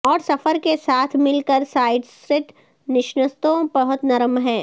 اور سفر کے ساتھ مل کر سایڈست نشستوں بہت نرم ہے